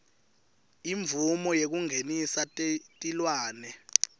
imvumo yekungenisa tilwane